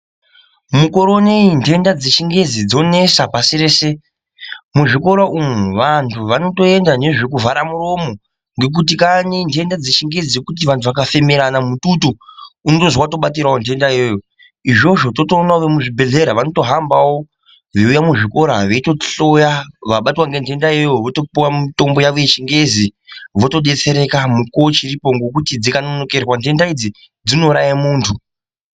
Mukore unoyi nhenda dzechingezi dzonesa pasi rese muzvikora umu vantu vanotoenda nezvekuvhara muromo ngekuti kani ngenhenda dzechingeezi antu akafemerana mututu unozwi watobatirawo nhenda iyoyo izvozvo totoonawo vemuzvibhehlera vanotohambawo veiuya muzvikora veitohloya vabatwa ngenhenda iyoiyo votopuwa mutombo wawo wechingezi votodetsereka mukuwo uchiripo ngokuti dzikanonokerwa nhenda idzi dzinouraye munhu.